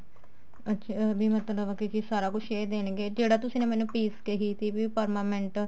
ਅੱਛਿਆ ਵੀ ਮਤਲਬ ਕੇ ਸਾਰਾ ਕੁੱਝ ਇਹ ਦੇਣਗੇ ਜਿਹੜੀ ਤੁਸੀਂ ਨੇ ਮੈਨੂੰ fees ਕਹਿ ਸੀ permanent